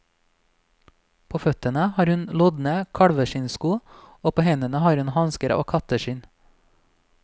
På føttene har hun lodne kalveskinnsko og på hendene har hun hansker av katteskinn.